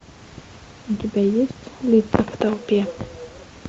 у тебя есть лица в толпе